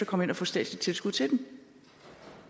komme ind og få statsligt tilskud til den